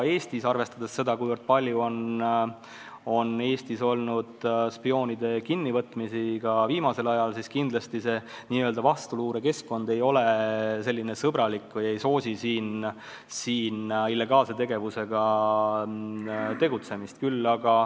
Arvestades seda, kui palju on Eestis viimasel ajal olnud spioonide kinnivõtmist, võib öelda, et kindlasti n-ö vastuluure keskkond ei ole sõbralik ega soosi siin säärast illegaalset tegevust.